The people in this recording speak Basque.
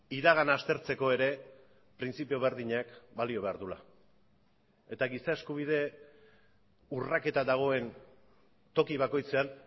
iragana aztertzeko ere printzipio berdinak balio behar duela eta giza eskubide urraketa dagoen toki bakoitzean